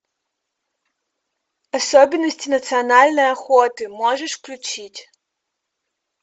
особенности национальной охоты можешь включить